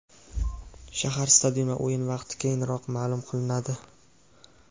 Shahar, stadion va o‘yin vaqti keyinroq ma’lum qilinadi.